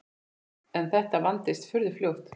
En þetta vandist furðu fljótt.